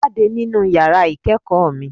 Jáde nínú yàrá ìkẹ́ẹ̀kọ̀ mi!